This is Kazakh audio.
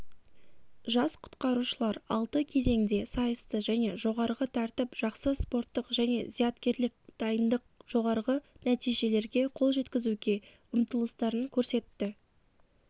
жас құтқарушылар алты кезеңде сайысты және жоғарғы тәртіп жақсы спорттық және зияткерлік дайындық жоғарғы нәтижелерге қол жеткізуге ұмтылыстарын көрсетті